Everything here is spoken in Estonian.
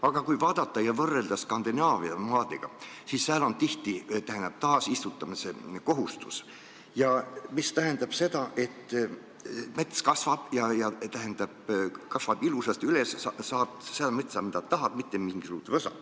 Aga kui vaadata ja võrrelda Skandinaavia maadega, siis sääl on tihti taasistutamise kohustus, mis tähendab seda, et mets kasvab ilusasti üles, sealt saad seda metsa, mida tahad, mitte mingisugust võsa.